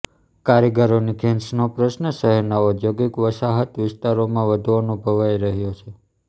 કારીગરોની ખેંચનો પ્રશ્ન શહેરના ઔદ્યોગિક વસાહત વિસ્તારોમાં વધુ અનુભવાઈ રહ્યો છે